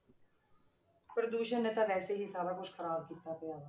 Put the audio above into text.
ਪ੍ਰਦੂਸ਼ਣ ਨੇ ਤਾਂ ਵੈਸੇ ਹੀ ਸਾਰਾ ਕੁਛ ਖ਼ਰਾਬ ਕੀਤਾ ਪਿਆ ਹੈ।